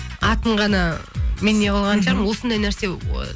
атын ғана мен неғылған шығармын осындай нәрсе